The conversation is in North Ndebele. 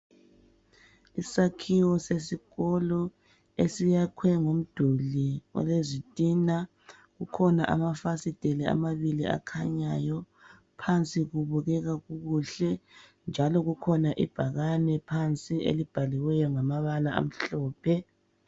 Isakhiwo sesikolo esayakhwe ngomduli olezitina, kukhona amafasiteli amabili akhanyayo phansi kubukeka kukuhle. Njalo kukhona ibhakane elibhaliweyo ngamabala amhlophe.